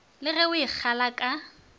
le go e kgala ka